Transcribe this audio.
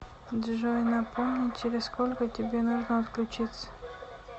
джой напомни через сколько тебе нужно отключиться